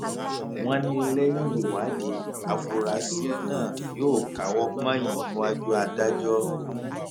wọn ní lẹyìn ìwádìí àfúráṣí náà yóò káwọ pọnyìn níwájú adájọ